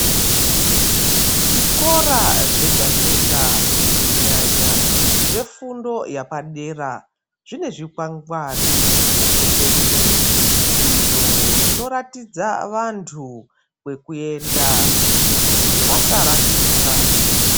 Zvikora zvega-zvega kunyanya zvefundo yepadera, zvine zvikwangwari peshe-peshe, izvo zvinoratidza vantu kwekuyenda kuti vasarashika.